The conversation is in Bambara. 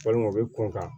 Walima u bɛ kunkan